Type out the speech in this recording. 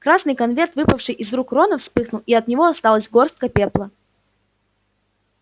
красный конверт выпавший из рук рона вспыхнул и от него осталась горстка пепла